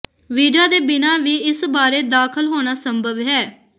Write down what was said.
visa ਦੇ ਬਿਨਾਂ ਵੀ ਇਸ ਬਾਰੇ ਦਾਖਲ ਹੋਣਾ ਸੰਭਵ ਹੈ